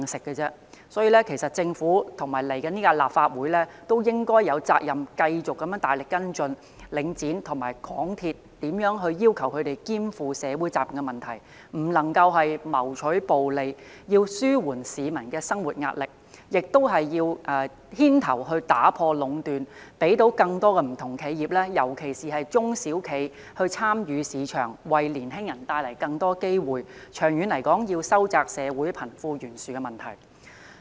因此，其實政府和來屆立法會有責任繼續大力跟進，要求領展和港鐵兼顧社會責任，不能夠謀取暴利，要紓緩市民的生活壓力；同時，應牽頭打破壟斷，讓更多不同企業——尤其是中小企——參與市場，為年輕人帶來更多機會，長遠收窄社會的貧富懸殊。